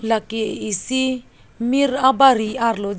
lake isi mir abari arlo jo.